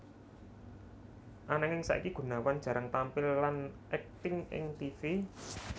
Ananging saiki Gunawan jarang tampil lan akting ing tivi